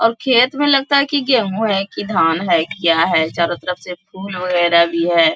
और खेत में लगता है की गेहूं है की धान है की क्या है चारों तरफ से फूल वगैराह भी है।